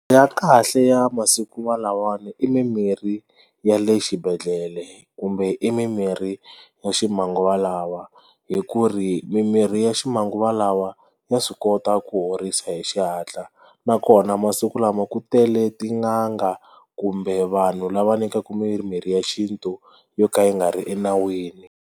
Ya kahle ya masiku lawa i mimirhi ya le xibedhlele kumbe i mimirhi ya ximanguva lawa hi ku ri mimirhi ya ximanguva lawa ya swi kota ku horisa hi xihatla nakona masiku lama ku tele tin'anga kumbe vanhu lava nyikaka miri mirhi ya xintu yo ka yi nga ri enawini.